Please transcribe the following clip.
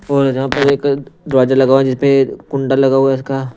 और यहां पर एक दरवाजा लगा हुआ है जिसपे कुंडा लगा हुआ है इसका--